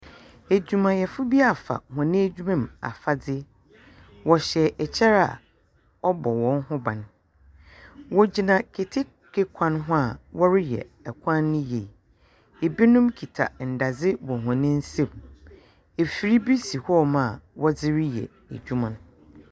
Edwumayɛfo bi afa hɔn edwuma mu afadze. Wɔhyɛ ɛkyɛ a ɔbɔ hɔn no ban. Wɔgyina keteke wan ho a wɔreyɛ kwan no yie. Binom kita ndadze wɔ hɔn nsam. Afir bi hɔnom a wɔdze reyɛ adwuma no.